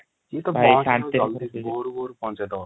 ଏତ ଭୋରୁ ଭୋରୁ ପହକହେଇ ଦବ |